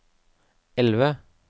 elve